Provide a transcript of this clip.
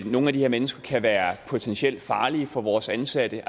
nogle af de her mennesker kan være potentielt farlige for vores ansatte